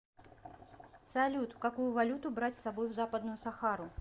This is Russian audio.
салют какую валюту брать с собой в западную сахару